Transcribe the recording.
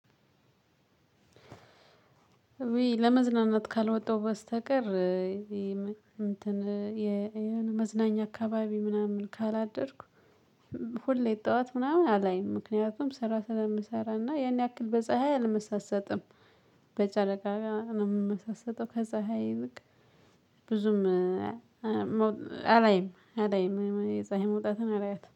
እውይ ለመዝናናት ካልወጣው በስተቀር የመዝናናት የሆነ መዝናኛ አካባቢ ምናምን ካላደርኩ ሁሌ ጠዋት ምናምን አላይም ምክንያቱም ስራ ስለምሰናራና ያን ያክል በፀሀይ አልመሳሰጥም በጨረቃ ነው የምመሳሰጠው ከጸህይ ይልቅ ብዙም አላይም አላይም የፀሀይ መውጣትን አላያትም።